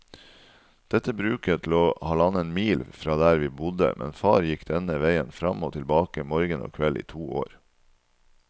Dette bruket lå halvannen mil fra der vi bodde, men far gikk denne veien fram og tilbake morgen og kveld i to år.